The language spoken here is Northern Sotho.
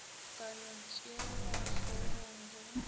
ka no tšeelwa hlogong ge